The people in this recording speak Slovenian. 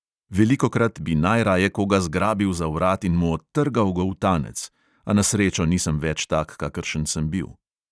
Velikokrat bi najraje koga zgrabil za vrat in mu odtrgal goltanec, a na srečo nisem več tak, kakršen sem bil.